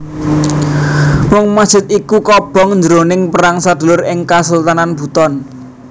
Mung masjid iku kobong jroning perang sedulur ing Kasultanan Buton